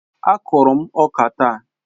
Á kụrụ m ọka taa